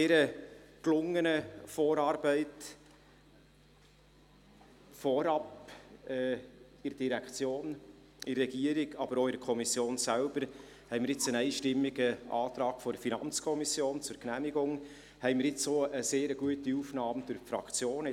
Durch diese gelungene Zusammenarbeit, vorgängig in der Direktion, in der Regierung, aber auch in der Kommission, haben wir nun einen einstimmigen Antrag der FiKo auf Genehmigung sowie eine sehr gute Aufnahme vonseiten der Fraktionen.